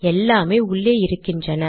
எல்லாமே உள்ளே இருக்கின்றன